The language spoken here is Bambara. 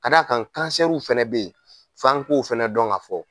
Ka d'a kan, kansɛriww fana bɛ yen f'an k'o 'fana dɔn ka fɔ.